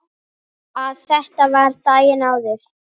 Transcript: Að þetta var daginn áður.